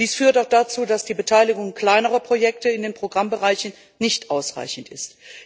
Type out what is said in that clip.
Dies führt auch dazu, dass die Beteiligung kleinerer Projekte in den Programmbereichen nicht ausreichend ist.